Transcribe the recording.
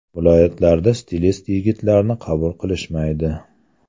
Viloyatlarda stilist yigitlarni qabul qilishmaydi.